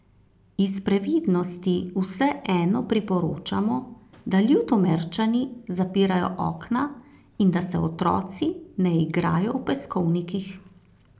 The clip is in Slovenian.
Iz previdnosti vseeno priporočamo, da Ljutomerčani zapirajo okna in da se otroci ne igrajo v peskovnikih.